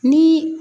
Ni